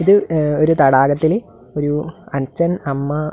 ഇത് എം ഒരു തടാകത്തില് ഒരു അച്ഛൻ അമ്മ.